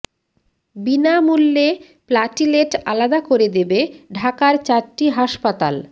বিনা মূল্যে প্লাটিলেট আলাদা করে দেবে ঢাকার চারটি হাসপাতাল